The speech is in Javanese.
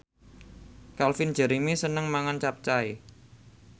Calvin Jeremy seneng mangan capcay